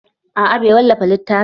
A'a bai wallafa littafin